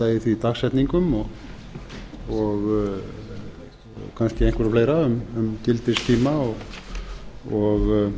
breyta í því dagsetningum og kannski einhverju fleira um gildistíma og